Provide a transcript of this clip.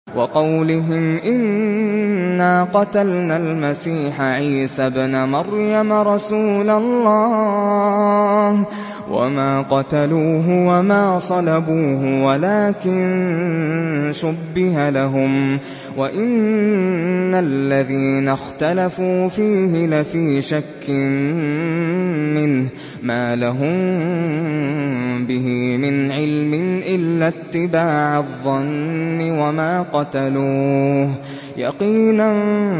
وَقَوْلِهِمْ إِنَّا قَتَلْنَا الْمَسِيحَ عِيسَى ابْنَ مَرْيَمَ رَسُولَ اللَّهِ وَمَا قَتَلُوهُ وَمَا صَلَبُوهُ وَلَٰكِن شُبِّهَ لَهُمْ ۚ وَإِنَّ الَّذِينَ اخْتَلَفُوا فِيهِ لَفِي شَكٍّ مِّنْهُ ۚ مَا لَهُم بِهِ مِنْ عِلْمٍ إِلَّا اتِّبَاعَ الظَّنِّ ۚ وَمَا قَتَلُوهُ يَقِينًا